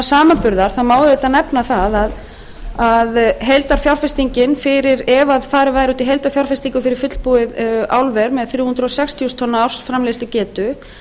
samanburðar má auðvitað nefna það að heildarfjárfestingin ef farið væri út í heildarfjárfestingu fyrir fullbúið álver með þrjú hundruð sextíu þúsund tonna ársframleiðslugetu